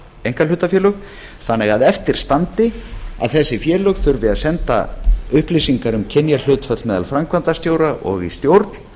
einkahlutafélög þannig að eftir standi að þessi félög þurfi að senda upplýsingar um kynjahlutföll meðal framkvæmdastjóra og í stjórn